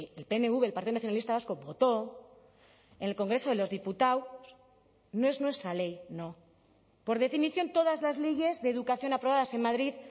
el pnv el partido nacionalista vasco votó en el congreso de los diputados no es nuestra ley no por definición todas las leyes de educación aprobadas en madrid